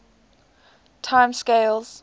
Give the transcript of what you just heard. time scales